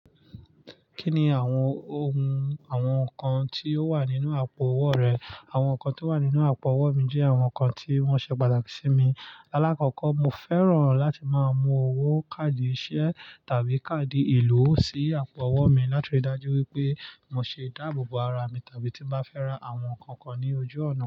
Kí ni àwọn ohun àwọn nǹkan tí ó wà nínú àpò owó rẹ? Àwọn nǹkan tí ó wà nínú àpò owó mi jẹ́ àwọn nǹkan tí wọ́n ṣe pàtàkì sí mi. Láàkọ́kọ́ mo fẹ́ràn láti máa mú owó káàdì iṣẹ́ tàbí káàdì ìlú sí àpò owó mi láti rí i dájú wípé mo ṣe ìdáàbòbò ara mi tàbí tí bá fẹ́ ra àwọn nǹkan kan ní ojú ọ̀nà.